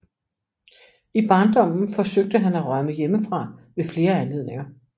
I barndommen forsøgte han at rømme hjemmefra ved flere anledninger